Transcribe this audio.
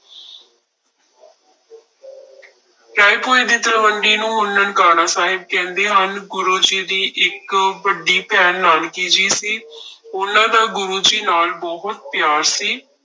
ਰਾਏਭੋਇ ਦੀ ਤਲਵੰਡੀ ਨੂੰ ਹੁਣ ਨਨਕਾਣਾ ਸਾਹਿਬ ਕਹਿੰਦੇ ਹਨ, ਗੁਰੂ ਜੀ ਦੀ ਇੱਕ ਵੱਡੀ ਭੈਣ ਨਾਨਕੀ ਜੀ ਸੀ ਉਹਨਾਂ ਦਾ ਗੁਰੂ ਜੀ ਨਾਲ ਬਹੁਤ ਪਿਆਰ ਸੀ।